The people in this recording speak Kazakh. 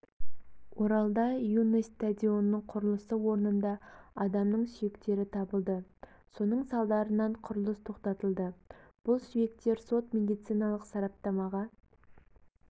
оралда юность стадионының құрылысы орнында адамның сүйектері табылды соның салдарынан құрылыс тоқтатылды бұл сүйектер сот-медициналық сараптамаға